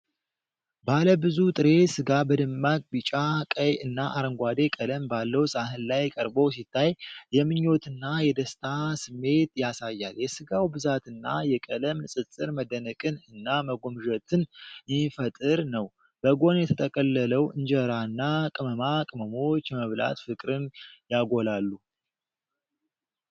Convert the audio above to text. ባለ ብዙ ጥሬ ሥጋ በደማቅ ቢጫ፣ ቀይ እና አረንጓዴ ቀለም ባለው ሳህን ላይ ቀርቦ ሲታይ፤ የምኞትና የደስታ ስሜት ያሳያል::የሥጋው ብዛትና የቀለም ንፅፅር መደነቅን እና መጎምዠትን የሚፈጥር ነው። በጎን የተጠቀለለው እንጀራና ቅመማ ቅመሞች የመብላት ፍቅርን ያጎላሉ::